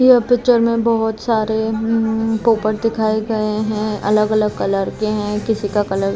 ये पिक्चर --